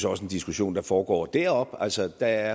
også en diskussion der foregår deroppe altså der